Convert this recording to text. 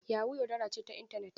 Yahoo yaudara ce ta intanet.